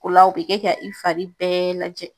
O la, o bɛ kɛ ka i fari bɛɛ lajɛ.